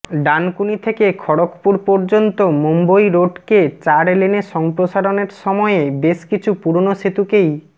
ডানকুনি থেকে খড়্গপুর পর্যন্ত মুম্বই রোডকে চার লেনে সম্প্রসারণের সময়ে বেশ কিছু পুরনো সেতুকেই